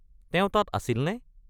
তেওঁ তাত আছিলনে?